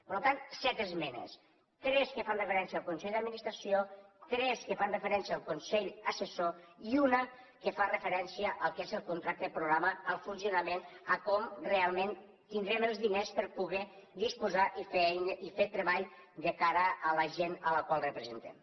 per tant set esmenes tres que fan referència al consell d’administració tres que fan referència al consell assessor i una que fa referència al que és el contracte programa al funcionament a com realment tindrem els diners per poder disposar i fer treball de cara a la gent a la qual representem